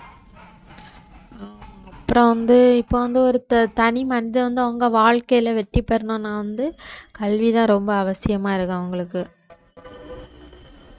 அப்புறம் வந்து இப்ப வந்து ஒருத்தர் தனி மனிதன் வந்து அவங்க வாழ்க்கையில வெற்றி பெறணும்னா வந்து கல்விதான் ரொம்ப அவசியமா இருக்கும் அவங்களுக்கு